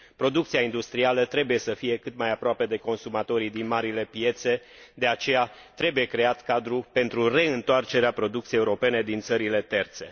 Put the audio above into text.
Producția industrială trebuie să fie cât mai aproape de consumatorii din marile piețe, de aceea trebuie creat cadrul pentru reîntoarcerea producției europene din țările terțe.